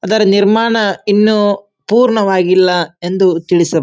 ಅದರ ನಿರ್ಮಾಣ ಇನ್ನು ಪೂರ್ಣವಾಗಿಲ್ಲ ಎಂದು ತಿಳಿಸಬ --